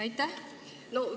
Aitäh!